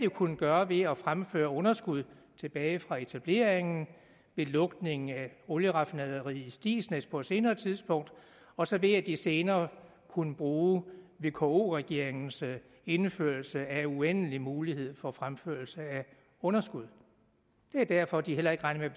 kunnet gøre ved at fremføre underskud tilbage fra etableringen ved lukningen af olieraffinaderiet på stigsnæs på et senere tidspunkt og så ved at de senere kunne bruge vko regeringens indførelse af uendelige muligheder for fremførelse af underskud det er derfor de heller ikke regner